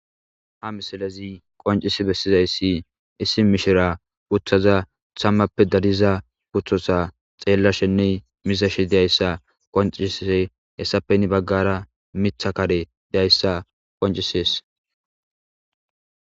Ha misilezi qoncissi besizayssi issi mishira uttaza tammappe dariza kuththotha xeelashshenne mizashshe dizayssa qoncissizay, hessappe heeni baggara miththa kare dayssa qoncisses.